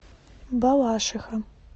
балашиха